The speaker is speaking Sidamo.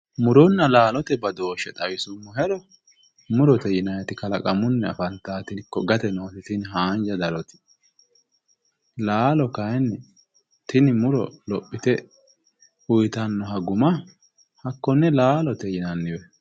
muronna laalote badooshshe xawisummohero murote yinayiiti kalaqamunni afantaati ikko tini gate noote laalo kayiinni tini muro lophite uyiitannoha guma hakkonne laaalote yinanniwe